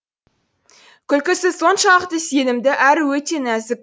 күлкісі соншалықты сенімді әрі өте нәзік